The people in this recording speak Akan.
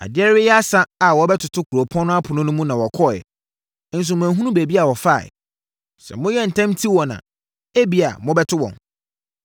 Adeɛ reyɛ asa a wɔrebɛtoto kuropɔn no apono mu no na wɔkɔeɛ, nso manhunu baabi a wɔfaeɛ. Sɛ moyɛ ntɛm ti wɔn a, ebia, mobɛto wɔn.”